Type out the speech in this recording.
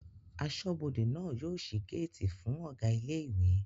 Aṣọ́bọdè náà yóò ṣí géètì fún Ọ̀gá ilé ìwé